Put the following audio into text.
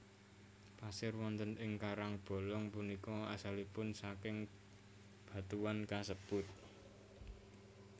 Pasir wonten ing karangbolong punika asalipun saking batuan kasebut